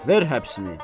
Ver həbsini.